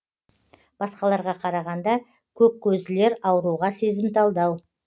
басқаларға қарағанда көк көзділер ауруға сезімталдау